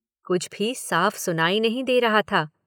कुछ भी साफ़ सुनाई नहीं दे रहा था।